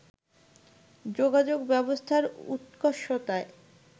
যোগাযোগ ব্যবস্থার উৎকর্ষতায়